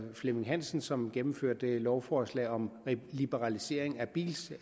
flemming hansen som gennemførte et lovforslag om liberalisering af bilsyn